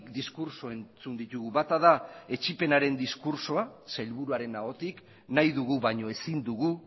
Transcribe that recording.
diskurtso entzun ditugu bata da etsipenaren diskurtsoa sailburuaren ahotik nahi dugu baino ezin dugu